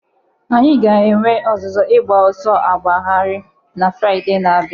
Anyị ga-enwe ọzụzụ ịgba ọsọ agbagharị na Fraịde na-abịa.